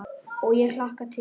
Og ég hlakka til.